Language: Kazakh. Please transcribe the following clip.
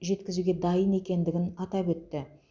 жеткізуге дайын екендігін атап өтті